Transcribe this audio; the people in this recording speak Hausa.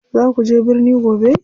Za kuje birni gobe.